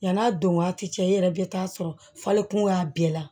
Yann'a don waati cɛ i yɛrɛ bɛ taa sɔrɔ falenkun y'a bɛɛ la